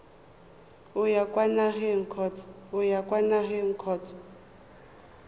o ya kwa nageng kgotsa